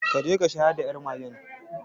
Ka je ka shayar da yar magen